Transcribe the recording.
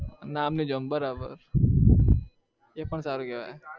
નામની job બરાબર એ પણ સારું કહેવાય